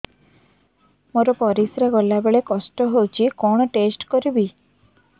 ମୋର ପରିସ୍ରା ଗଲାବେଳେ କଷ୍ଟ ହଉଚି କଣ ଟେଷ୍ଟ କରିବି